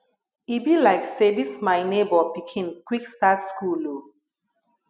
e be like say dis my nebor pikin quick start school o